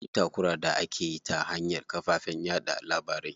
Akwai takura da akeyi ta hanyar kafafen yaɗa labarai.